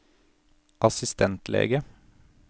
assistentlege